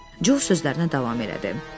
Co sözlərinə davam elədi.